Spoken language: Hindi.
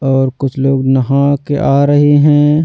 और कुछ लोग नहा के आ रहे हैं।